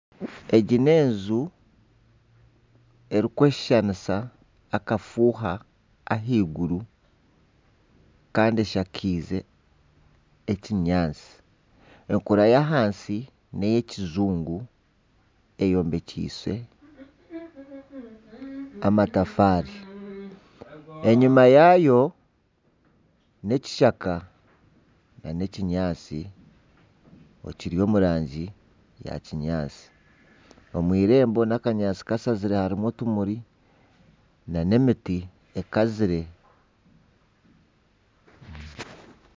Egi n'enju erikweshushanisa akafuuha ahaiguru kandi eshakaize ekinyaatsi. Enkura y'ahansi ni ey'ekijungu eyombekyeise amatafaari. Enyima yaayo n'ekishaka nana ekinyaatsi ekiri omu rangi ya kinyaatsi. Omu eirembo n'akanyaatsi kashazire harimu otumuri nana emiti ekazire.